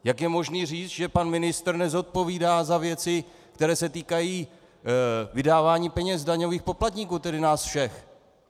Jak je možné říct, že pan ministr nezodpovídá za věci, které se týkají vydávání peněz daňových poplatníků, tedy nás všech?